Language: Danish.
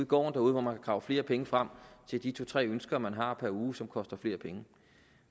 gården hvor man kan grave flere penge frem til de to tre ønsker man har per uge som koster flere penge